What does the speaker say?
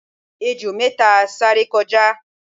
ejò méta sáré kọjá